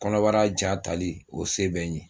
Kɔnɔbara ja tali o se bɛ n ye